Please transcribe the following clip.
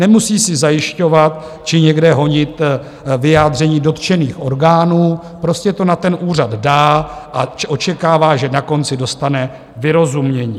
Nemusí si zajišťovat či někde honit vyjádření dotčených orgánů, prostě to na ten úřad dá a očekává, že na konci dostane vyrozumění.